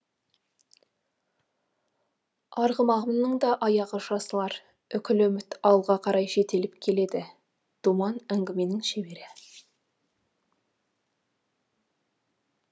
арғымағымның да аяғы жазылар үкілі үміт алға қарай жетелеп келеді думан әңгіменің шебері